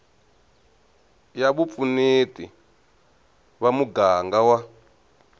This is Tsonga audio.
ya vupfuneti va muganga wa